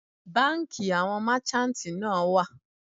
Bánkì àwọn merchantí náà wà.